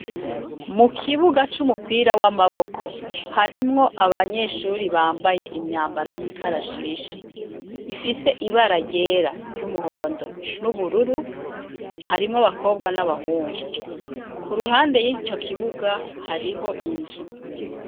Mukibiga c'umupira w'amaboko. Harimwo abanyeshure bambaye imyambaro y'ikarashishe, ifise ibara ryera, ry'umuhomdo, n'ubururu, harimwo Abakobwa, n'Abahungu. Kuruhande rwico kibuga, hariho inzu.